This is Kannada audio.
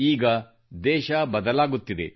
ಈಗ ದೇಶ ಬದಲಾಗುತ್ತಿದೆ